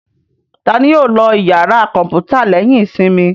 Ta ni yóò lọ ìyàrá kọ̀ǹpútà lẹ́yìn ìsinmi?